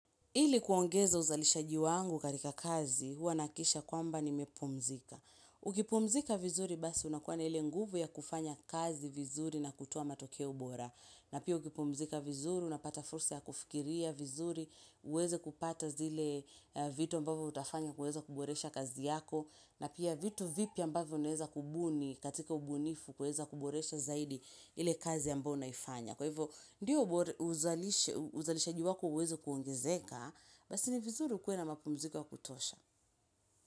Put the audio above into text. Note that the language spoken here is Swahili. Ili kuongeza uzalishaji wangu katika kazi, huwa nahakikisha kwamba nimepumzika. Ukipumzika vizuri basi unakuwa na ili nguvu ya kufanya kazi vizuri na kutoa matokea bora. Na pia ukipumzika vizuri, unapata fursa ya kufikiria vizuri, uweze kupata zile vitu ambavyo utafanya kuweza kuboresha kazi yako. Na pia vitu vipi ambavyo unaweza kubuni katika ubunifu huweza kuboresha zaidi ile kazi ambayo unaifanya. Kwa hivyo, ndiyo uzalishaji wako uweze kuongezeka, basi ni vizuri ukuwe na mapumziko ya kutosha.